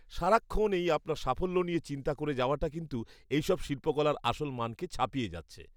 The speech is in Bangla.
সারাক্ষণ এই আপনার সাফল্য নিয়ে চিন্তা করে যাওয়াটা কিন্তু এইসব শিল্পকলার আসল মানকে ছাপিয়ে যাচ্ছে।